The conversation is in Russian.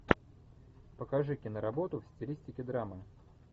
покажи киноработу в стилистике драмы